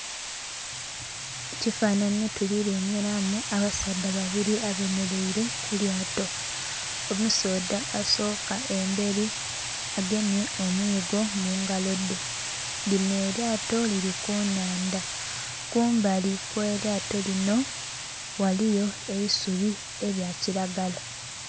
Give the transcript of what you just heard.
Mu kifanhanhi tulilengelamu abasaadha babili abemelaile ku lyaato. Omusaadha asooka embeli agemye omuigo mu ngalo dhe. Linho elyaato lili ku nnhandha kumali kwelyato linho, ghaliyo eisubi elyakilagala.